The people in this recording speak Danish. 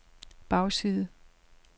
bagside